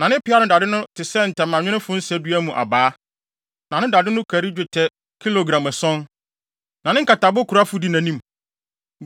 Na ne peaw ano dade no te sɛ ntamanwemfo nsadua mu abaa, na ano dade no kari dwetɛ kilogram ason. Na ne nkatabokurafo di nʼanim.